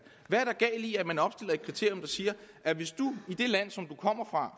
er i at man opstiller et kriterium der siger at hvis du i det land som du kommer fra